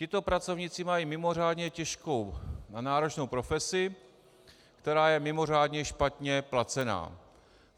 Tito pracovníci mají mimořádně těžkou a náročnou profesi, která je mimořádně špatně placená.